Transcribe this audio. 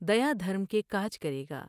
دیا دھرم کے کاج کرے گا ۔